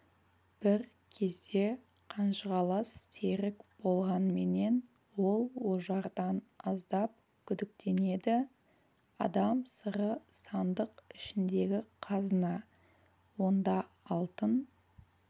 бір кезде қанжығалас серік болғанменен ол ожардан аздап күдіктенеді адам сыры сандық ішіндегі қазына онда алтын